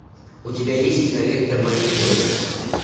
у тебя есть кинолента мери поппинс